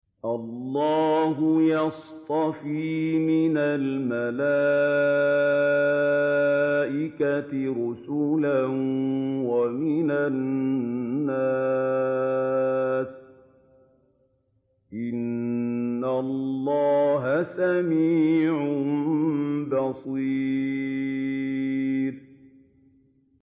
اللَّهُ يَصْطَفِي مِنَ الْمَلَائِكَةِ رُسُلًا وَمِنَ النَّاسِ ۚ إِنَّ اللَّهَ سَمِيعٌ بَصِيرٌ